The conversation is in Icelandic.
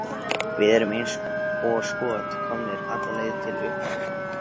Við erum eins og skot komnir alla leið til upphafsins.